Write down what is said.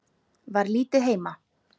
Var lítið heima.